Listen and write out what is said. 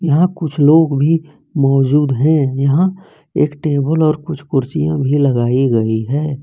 यहां कुछ लोग भी मौजूद हैं यहां एक टेबल और कुछ कुर्सियां भी लगाई गई है।